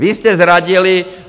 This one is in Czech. Vy jste zradili!